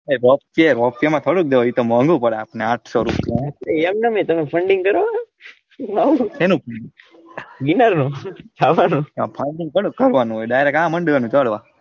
એતો મોનવું પડે આપણે આઠસો રૂપિયા એમનામ એતો funding કરવો હેનું વીમા નું ખાવાનું funding થોડું કરવાંનુ હોય direct આ માંડવાનું હોય કરવા.